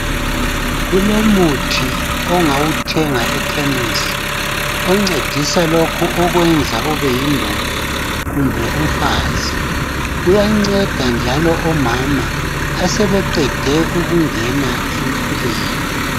Kulomuthi ongawuthenga ekhemisi, oncedisa lokhu okwenza ube yindoda kumbe umfazi, uyanceda njalo omama asebeqede ukungena emfuleni.